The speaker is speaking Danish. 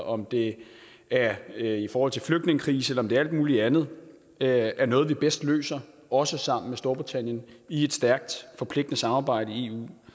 om det er i forhold til flygtningekrisen eller om det er alt muligt andet er er noget vi bedst løser også sammen med storbritannien i et stærkt forpligtende samarbejde i eu